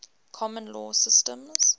common law systems